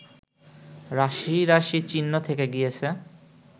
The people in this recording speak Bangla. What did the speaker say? রাশিরাশি চিহ্ন থেকে গিয়েছে